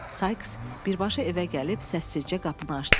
Sayks birbaşa evə gəlib səssizcə qapını açdı.